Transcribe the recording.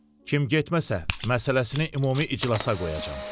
Kim getməsə, məsələsini ümumi iclasa qoyacam.